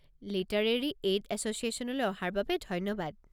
Literary aid এছ'চিয়েশ্যনলৈ অহাৰ বাবে ধন্যবাদ।